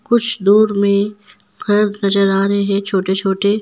कुछ दूर में घर नजर आ रहे हैं छोटे छोटे।